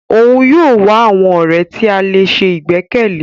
Òún yóò wá àwọn ọrẹ ti a lè sè igbẹkẹle.